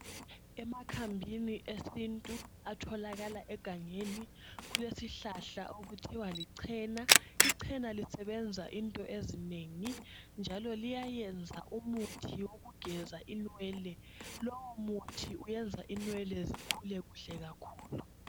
Emakhambini esintu atholakala egangeni kulesi hlahla okuthwa lichena, ichena lisebenza into ezinengi njalo liyayenza umuthi wokugeza inwele, lowo muthi uyenza inwele zikhule kuhle kakhulu.